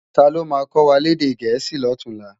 Táló má kòwá lèdè èdè Gẹẹsi lòtúnlá?